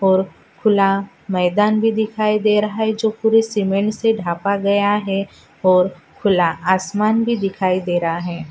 और खुला मैदान भी दिखाई दे रहा है जो पूरी सीमेंट से ढका गया है और खुला आसमान भी दिखाई दे रहा है।